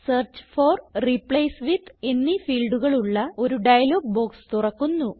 search for replace with എന്നീ ഫീൽഡുകൾ ഉള്ള ഒരു ഡയലോഗ് ബോക്സ് തുറക്കുന്നു